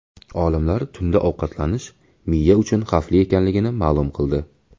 Olimlar tunda ovqatlanish miya uchun xavfli ekanligini ma’lum qildi.